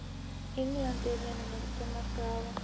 Englandi, vinur minn til margra ára.